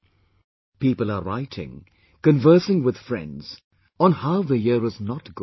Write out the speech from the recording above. " People are writing, conversing with friends on how the year is not good